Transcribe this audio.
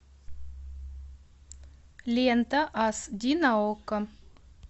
лента ас ди на окко